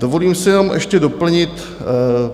Dovolím si jenom ještě doplnit.